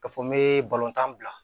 Ka fɔ n be balontan bila